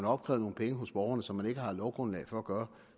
opkrævet nogle penge hos borgerne som man ikke har lovgrundlag for at gøre